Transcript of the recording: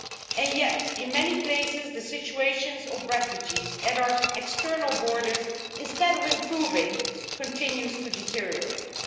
And yet, in many places, the situation of refugees at our external borders, instead of improving, continues to deteriorate.